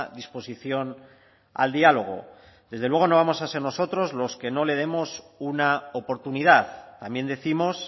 disposición al diálogo desde luego no vamos a ser nosotros los que no le demos una oportunidad también décimos